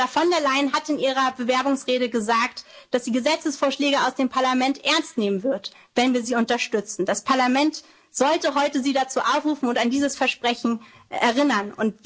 mitzugeben. Ursula von der Leyen hat in ihrer Bewerbungsrede gesagt, dass sie Gesetzesvorschläge aus dem Parlament ernst nehmen wird, wenn wir sie unterstützen. Das Parlament sollte sie heute dazu aufrufen und an dieses Versprechen